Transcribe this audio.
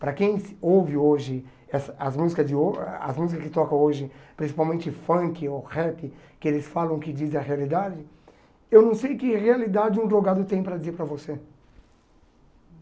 Para quem ouve hoje essa as música de ho as música que tocam hoje, principalmente funk ou rap, que eles falam que dizem a realidade, eu não sei que realidade um drogado tem para dizer para você.